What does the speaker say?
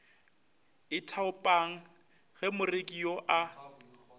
ithaopang go moreki yo a